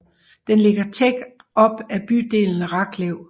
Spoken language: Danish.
Den ligger tæt op ad bydelen Raklev